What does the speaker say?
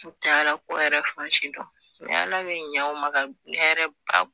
U t'alako yɛrɛ fan si dɔn mɛ ala bi ɲa u ma ka hɛrɛ ba